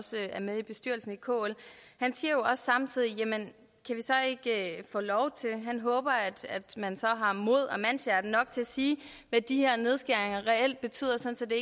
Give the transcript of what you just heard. med i bestyrelsen i kl og han siger samtidig at han håber at man så har mod og mandshjerte nok til at sige hvad de her nedskæringer reelt betyder sådan at